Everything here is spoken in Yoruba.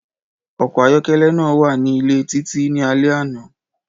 Ọkọ ayọkẹlẹ naa wa ni ile Titi ni alẹ ana.